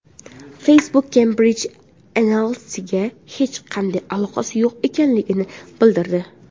Facebook Cambridge Analytca’ga hech qanday aloqasi yo‘q ekanligini bildirdi.